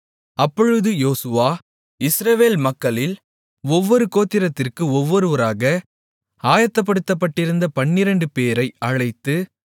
அப்பொழுது யோசுவா இஸ்ரவேல் மக்களில் ஒவ்வொரு கோத்திரத்திற்கு ஒவ்வொருவராக ஆயத்தப்படுத்தப்பட்டிருந்த பன்னிரண்டுபேரை அழைத்து